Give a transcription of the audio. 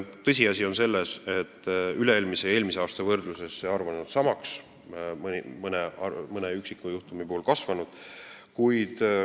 Tõsiasi on see, et üle-eelmise ja eelmise aasta võrdluses on see arv jäänud samaks, mõni üksik näitaja on kasvanud.